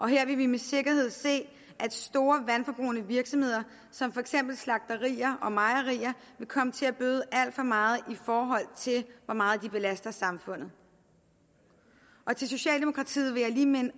her vil vi med sikkerhed se at store vandforbrugende virksomheder som for eksempel slagterier og mejerier vil komme til at bøde alt for meget i forhold til hvor meget de belaster samfundet socialdemokratiet vil jeg lige minde